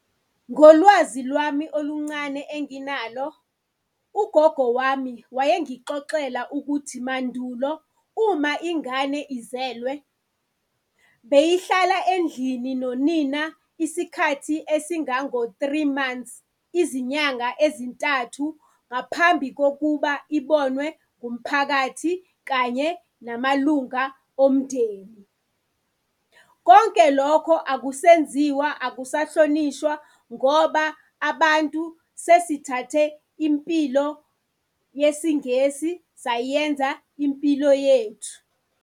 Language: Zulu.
Ngolwazi lwami oluncane enginalo, ugogo wami wayengixoxela ukuthi mandulo uma ingane izelwe beyihlala endlini nonina isikhathi esingango-three months, izinyanga ezintathu ngaphambi kokuba ibonwe ngumphakathi kanye namalunga omndeni. Konke lokho akusenziwa, akusahlonishwa ngoba abantu sesithathe impilo yesiNgesi sayenza impilo yethu.